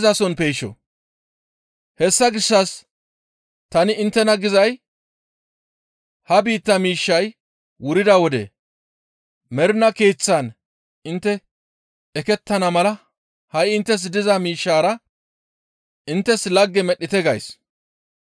«Hessa gishshas tani inttena gizay ha biittaa miishshay wurida wode mernaa keeththan intte ekettana mala ha7i inttes diza miishshaara inttes lagge medhdhite gays.